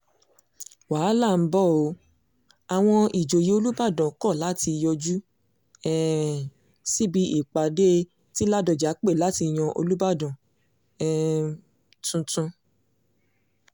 wàhálà ń bọ́ ọ àwọn ìjòyè olùbàdàn kọ́ láti yọjú um síbi ìpàdé ti ládọ́jà pé láti yan olùbàdàn um tuntun